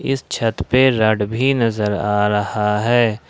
इस छत पे राड भी नजर आ रहा है।